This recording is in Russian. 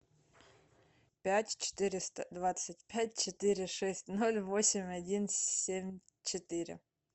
пять четыреста двадцать пять четыре шесть ноль восемь один семь четыре